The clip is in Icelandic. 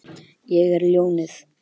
Ég er ljónið.